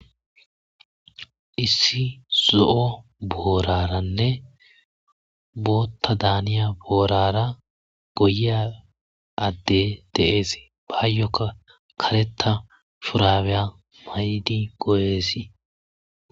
issi zo7o booraranne bootta daaniya boorara goye adde deees baayoka kareta furaweya may7di goyeesi